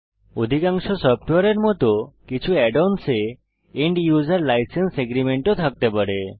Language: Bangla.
অধিকাংশ সফ্টওয়্যারের মত কিছু add অন্স এ end উসের লাইসেন্স এগ্রিমেন্টস ও থাকতে পারে